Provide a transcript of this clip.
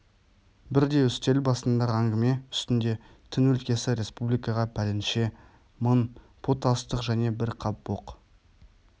бірде үстел басындағы әңгіме үстінде тың өлкесі республикаға пәленше мың пұт астық және бір қап боқ